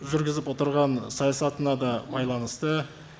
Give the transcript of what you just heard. жүргізіп отырған саясатына да байланысты